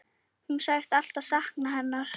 Hún sagðist alltaf sakna hennar.